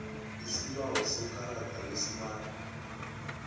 isibawo sekarada lesmart